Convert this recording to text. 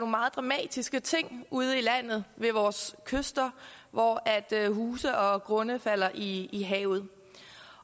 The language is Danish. meget dramatiske ting ude i landet ved vores kyster hvor huse og grunde falder i i havet